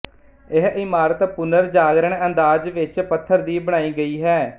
ਇਹ ਇਮਾਰਤ ਪੁਨਰਜਾਗਰਣ ਅੰਦਾਜ਼ ਵਿੱਚ ਪੱਥਰ ਦੀ ਬਣਾਈ ਗਈ ਹੈ